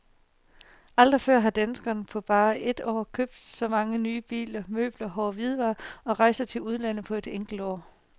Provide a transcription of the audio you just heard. Aldrig før har danskerne på bare et år købt så mange nye biler, møbler, hårde hvidevarer og rejser til udlandet på et enkelt år.